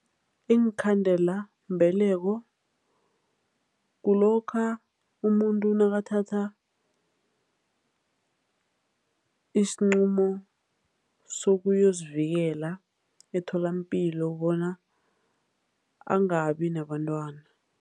Iinkhandelambeleko kulokha umuntu nakathatha isinqumo sokuyozivikela etholampilo bona angabi nabantwana.